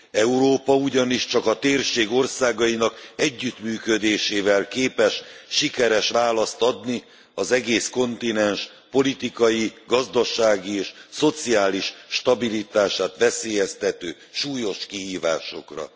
Európa ugyanis csak a térség országainak együttműködésével képes sikeres választ adni az egész kontinens politikai, gazdasági és szociális stabilitását veszélyeztető súlyos kihívásokra.